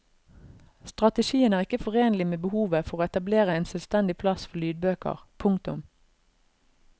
Strategien er ikke forenlig med behovet for å etablere en selvstendig plass for lydbøker. punktum